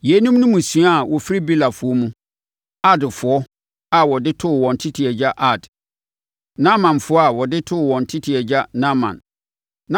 Yeinom ne mmusua a wɔfiri Belafoɔ mu. Ardfoɔ a wɔde too wɔn tete agya Ard. Naamanfoɔ a wɔde too wɔn tete agya Naaman.